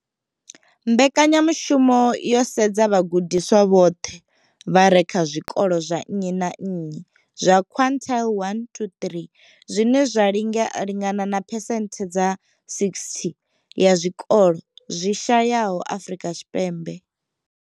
Mbekanyamushumo yo sedza vhagudiswa vhoṱhe vha re kha zwikolo zwa nnyi na nnyi zwa quintile 1 to 3, zwine zwa lingana na phesenthe dza 60 ya zwikolo zwi shayesaho Afrika Tshipembe.